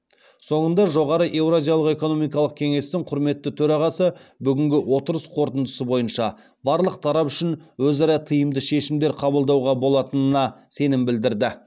соңында жоғары еуразиялық экономикалық кеңестің құрметті төрағасы бүгінгі отырыс қорытындысы бойынша барлық тарап үшін өзара тиімді шешімдер қабылдауға болатынына сенім білдірді